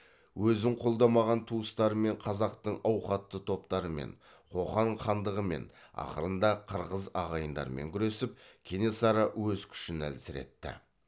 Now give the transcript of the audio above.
өзін қолдамаған туыстарымен қазақтың ауқатты топтарымен қоқан хандығымен ақырында қырғыз ағайындармен күресіп кенесары өз күшін әлсіретті